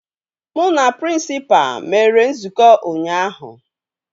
Mụ na prịnsịpa mere nzukọ ụnyaahụ